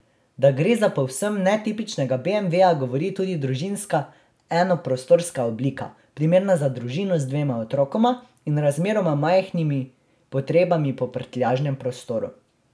Da gre za povsem netipičnega beemveja, govori tudi družinska enoprostorska oblika, primerna za družino z dvema otrokoma in razmeroma majhnimi potrebami po prtljažnem prostoru.